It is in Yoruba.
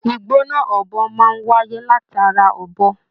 Igbona ọbọ máa n wáyé látara ọbọ.